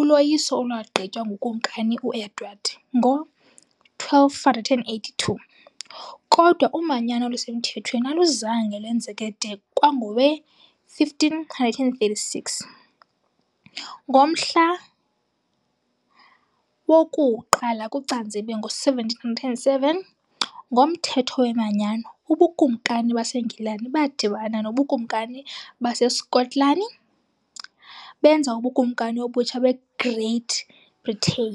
uloyiso olwagqitywa nguKumkani u-Edward I ngo-1282, kodwa umanyano olusemthethweni aluzange lwenzeke de kwangowe-1536. Ngomhla woku-1 kuCanzibe ngo-1707, ngoMthetho weManyano, ubukumkani baseNgilani badibana nobukumkani baseSkotlani benza uBukumkani obutsha beGreat Britain.